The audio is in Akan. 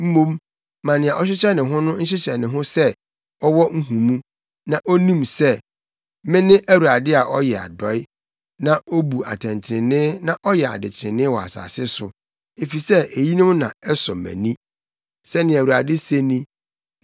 Mmom ma nea ɔhyehyɛ ne ho nhyehyɛ ne ho sɛ ɔwɔ nhumu, na onim sɛ, me ne Awurade a ɔyɛ adɔe, na obu atɛntrenee na ɔyɛ adetrenee wɔ asase so, efisɛ eyinom na ɛsɔ mʼani,” sɛnea Awurade se ni.